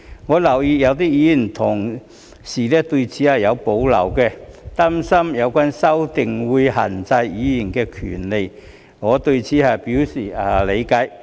我留意到有些議員同事對此有保留，擔心有關修訂會限制議員的權利，我對此表示理解。